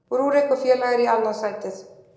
Rúrik og félagar í annað sætið